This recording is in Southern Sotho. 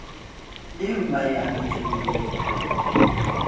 eo ba e abetsweng le